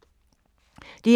DR2